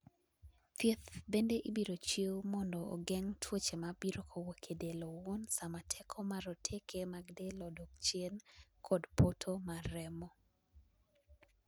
thieth bende ibiro chiw mondo ogeng' tuoche mabiro kowuok edel owuon sama teko mar roteke mag del okok chien kod poto mar remo